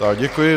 Tak děkuji.